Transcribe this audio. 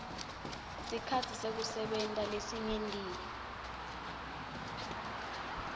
sikhatsi sekusebenta lesingetiwe